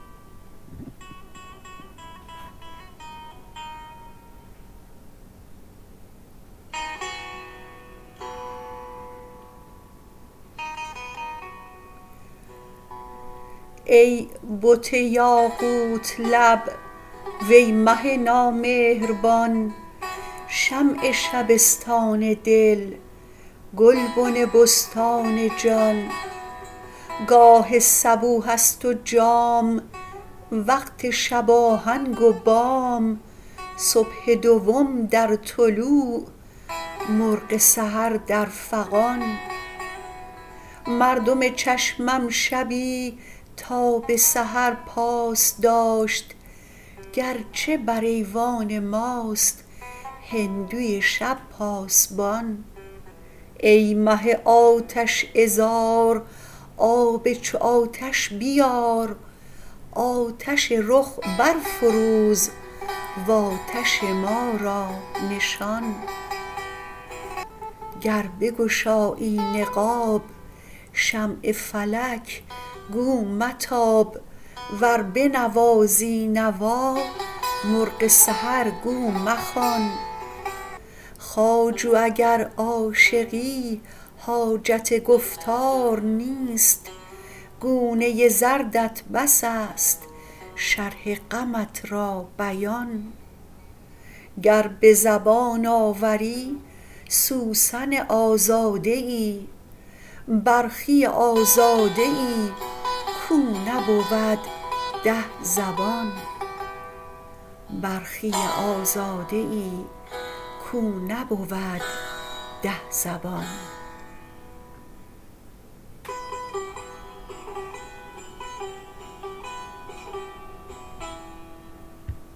ای بت یاقوت لب وی مه نامهربان شمع شبستان دل گلبن بستان جان گاه صبوحست و جام وقت شباهنگ و بام صبح دوم در طلوع مرغ سحر در فغان مردم چشمم شبی تا بسحر پاس داشت گرچه بر ایوان ماست هندوی شب پاسبان ای مه آتش عذار آب چو آتش بیار آتش رخ بر فروز و آتش ما را نشان گر بگشایی نقاب شمع فلک گو متاب ور بنوازی نوا مرغ سحر گو مخوان خواجو اگر عاشقی حاجت گفتار نیست گونه زردت بسست شرح غمت را بیان گر بزبان آوری سوسن آزاده یی برخی آزاده یی کو نبود ده زبان